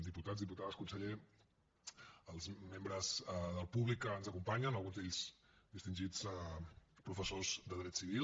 diputats diputades conseller els membres del públic que ens acompanyen alguns d’ells distingits professors de dret civil